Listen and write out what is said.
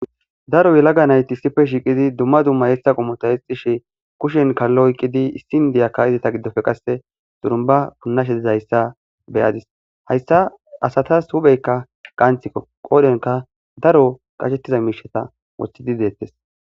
daro yelaga nayti issife shiiqidi dumma dumma yeessa qomota hexishe kushen kallo oyqqidi issin diyaka idita giddofe qasse xurumba punnasheizhayssa beyadis hayssa asatas hupheykka qanthikko qoodhenka daro qashettiza miishata wothidi deettes